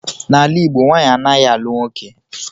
N'ala Igbo nwaanyị anaghị alụ nwoke